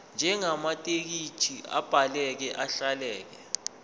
njengamathekisthi abhaleke ahleleka